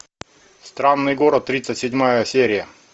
странный город тридцать седьмая серия